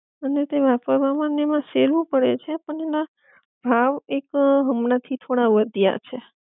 અને તે વાપરવા માં ને એમા સેલું પડે છે પણ એના ભાવ એક હમણા થી થોડા વધ્યા છે